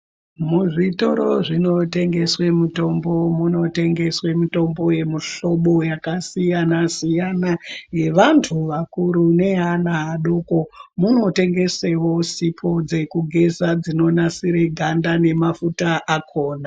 Muzvitoro zvinotengeswa mitombo munotengeswa mitombo yemuhlobo yakasiyana siyana yevantu vakuru nevana vadoko muno tengeswawo sipo dzekugeza dzinonasira ganda nemafuta akona.